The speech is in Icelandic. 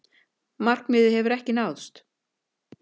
Það markmið hefur ekki náðst.